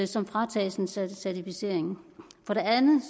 som fratages en certificering for det andet